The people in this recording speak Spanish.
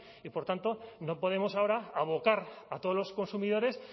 y por tanto no podemos ahora abocar a todos los consumidores